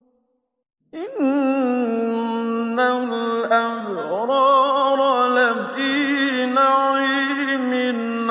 إِنَّ الْأَبْرَارَ لَفِي نَعِيمٍ